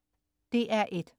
DR1: